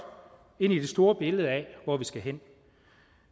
ind i det store billede af hvor vi skal hen